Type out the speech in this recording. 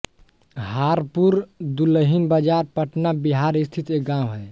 हारपुर दुल्हिनबाजार पटना बिहार स्थित एक गाँव है